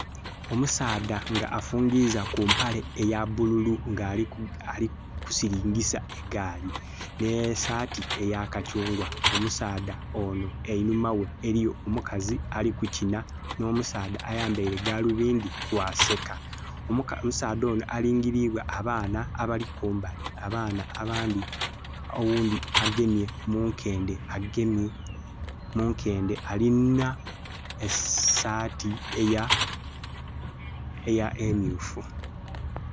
Omusaadha nga afungiza ku mpale eya bululu nga ali ku silingisa egaali, n'esaati eya kakyungwa. Omusaadha onho einhuma ghe eliyo omukazi ali kukina n'omusaadha ayambaile galubindi bwaseka. Omusaadha ono alingilibwa abaana abali kumbali. Omwana oghundhi agemye munkende alina esaati emyuufu